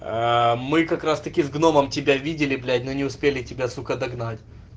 мы как раз таки с гномом тебя видели блять но не успели тебя сука догнать